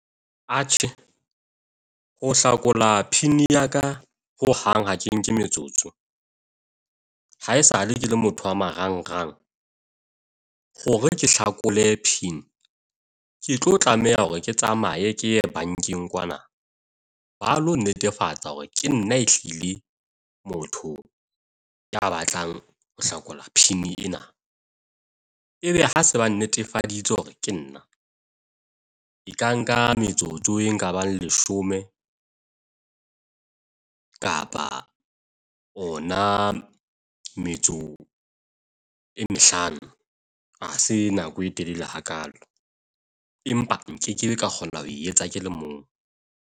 Atjhe, ho hlakola pin ya ka ho hang ha ke nke metsotso. ha esale ke le motho a marangrang hore ke hlakole pin, ke tlo tlameha hore ke tsamaye ke ye bankeng kwana ba lo netefatsa hore ke nna ehlile motho ya batlang ho hlakola pin ena. Ebe ha se ba netefaditse hore ke nna e ka nka metsotso e ka bang leshome kapa ona metso e mehlano ha se nako e telele hakaalo, empa nkekebe ka kgona ho e etsa ke le mong.